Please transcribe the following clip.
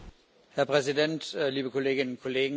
Herr Präsident, liebe Kolleginnen und Kollegen!